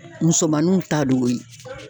Musomanunw ta d'o ye